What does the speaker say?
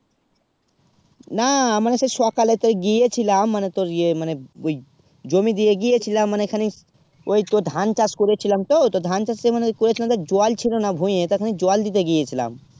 না মানে সে সকালে সে গিয়ে ছিলাম মানে তোর ঐই জমিন দিয়ে গিয়েছিলাম মানে এইখানে ঐই তো ধান চাষ করে ছিলাম তো ধান চাষ তো করে ছিলাম তো জল ছিল না ভূঁইয়া তাতো জল দিতে গিয়ে ছিলাম